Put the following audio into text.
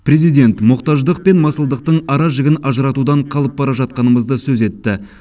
президент мұқтаждық пен масылдықтың аражігін ажыратудан қалып бара жатқанымызды сөз етті